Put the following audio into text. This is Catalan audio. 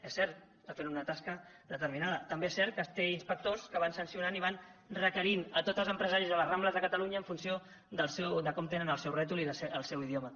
és cert està fent una tasca determinada també és cert que té inspectors que van sancionant i van requerint tots els empresaris de les rambles de catalunya en funció de com tenen el seu rètol i el seu idioma